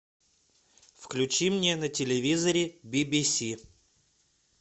включи мне на телевизоре би би си